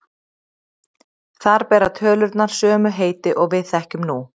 Þar bera tölurnar sömu heiti og við þekkjum nú.